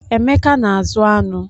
Emeka na-azụ aṅụ